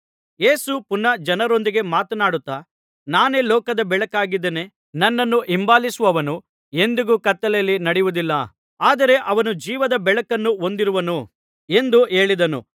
ಯೇಸು ಪುನಃ ಜನರೊಂದಿಗೆ ಮಾತನಾಡುತ್ತಾ ನಾನೇ ಲೋಕದ ಬೆಳಕಾಗಿದ್ದೇನೆ ನನ್ನನ್ನು ಹಿಂಬಾಲಿಸುವವನು ಎಂದಿಗೂ ಕತ್ತಲೆಯಲ್ಲಿ ನಡೆಯುವುದಿಲ್ಲ ಆದರೆ ಅವನು ಜೀವದ ಬೆಳಕನ್ನು ಹೊಂದಿರುವನು ಎಂದು ಹೇಳಿದನು